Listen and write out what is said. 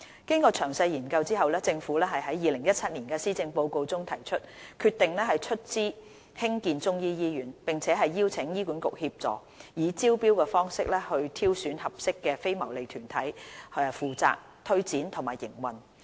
經詳細研究後，政府於2017年施政報告中提出，決定出資興建中醫醫院，並邀請醫管局協助，以招標方式挑選合適的非牟利團體負責推展和營運。